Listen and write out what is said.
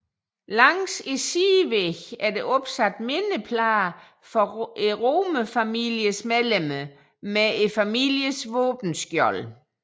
Langs sidevæggene er der opsat mindeplader for Romerfamiliens medlemmer med familiens våbenskjold